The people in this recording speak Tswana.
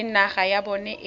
le naga ya bona e